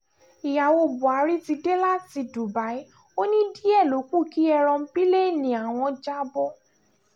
ìyàwó buhari ti dé láti dubai ó ní díẹ̀ ló kù kí èròńpilẹ̀ẹ́ni àwọn já bọ́